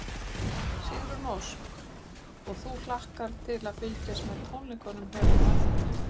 Sigrún Ósk: Og þú hlakkar til að fylgjast með tónleikunum hérna á eftir?